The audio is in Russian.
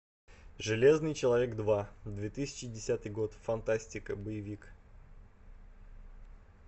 железный человек два две тысячи десятый год фантастика боевик